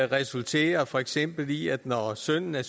resulterer for eksempel i at når sønnen er